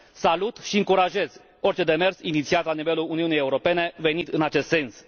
Salut și încurajez orice demers inițiat la nivelul Uniunii Europene venit în acest sens.